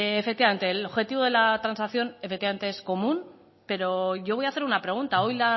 efectivamente el objetivo de la transacción es común pero yo voy a hacer una pregunta hoy